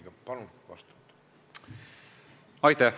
Aga palun vastake!